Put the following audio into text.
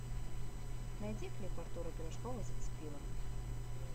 найди клип артура пирожкова зацепила